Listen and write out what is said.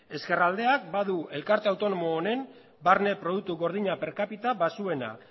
ezkerraldeak badu elkarte autonomo honen barne produktu gordina per capita baxuena